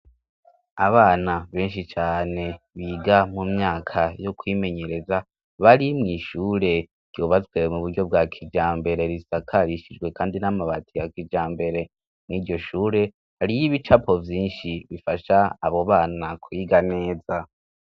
Abana benshi cane biga mu myaka yo kwimenyereza bari mw'ishure ryobazwe mu buryo bwa kijambere risakarishijwe, kandi n'amabati ya kijambere mw'iryo shure hariyoibicapo vyinshi bifasha abo bana kwiga neza.